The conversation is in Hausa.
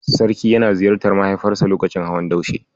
Sarki yana ziyartar mahaifiyarsa lokacin hawan Daushe.